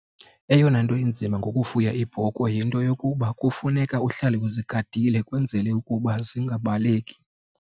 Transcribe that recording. Eyona nto inzima ngokufuya iibhokhwe yinto yokuba kufuneka uhlale uzigadile kwenzele ukuba zingabaleki.